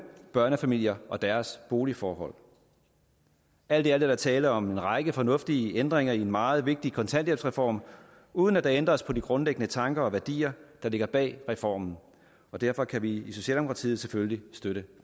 børnefamilier og deres boligforhold alt i alt er der tale om en række fornuftige ændringer i en meget vigtig kontanthjælpsreform uden at der ændres på de grundlæggende tanker og værdier der ligger bag reformen derfor kan vi i socialdemokratiet selvfølgelig støtte